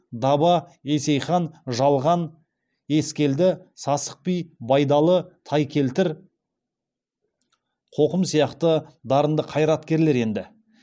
даба есейхан жалған ескелді сасық би байдалы тайкелтір қоқым сияқты дарынды қайраткерлер енді